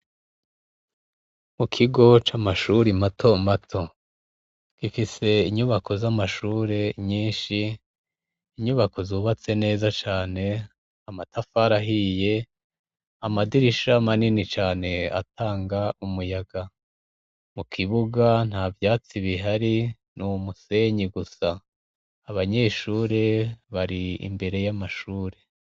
Mu kigo c'amashure imato mato gifise inyubako z'amashure nyinshi inyubako zubatse neza cane amatafarahiye amadirisha amanini cane atanga umuyaga mu kibuga nta vyatsi bihari ni umusenyi gusa abanyeshure bari imbere y'amashure.